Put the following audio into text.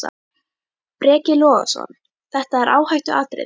Breki Logason: Þetta er áhættuatriði?